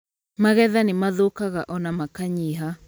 Magetha nĩ mathũkaga ona makanyiha